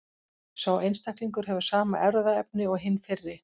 Sá einstaklingur hefur sama erfðaefni og hinn fyrri.